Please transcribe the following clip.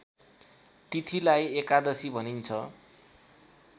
तिथिलाई एकादशी भनिन्छ